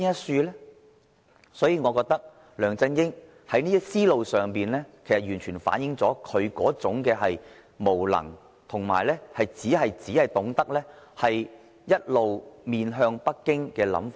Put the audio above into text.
所以，我認為梁振英這種思路完全反映了他的無能，以及只懂得一直面向北京的想法。